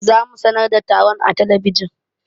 Za mu sanar da taron a talabijin.